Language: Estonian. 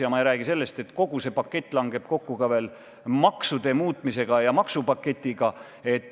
Ja ma ei räägi sellest, et kogu see pakett langeb kokku ka veel maksude muutmisega ja maksupaketiga.